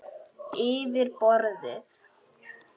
Yfir borðið.